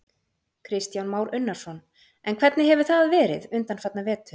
Kristján Már Unnarsson: En hvernig hefur það verið undanfarna vetur?